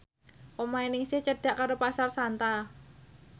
omahe Ningsih cedhak karo Pasar Santa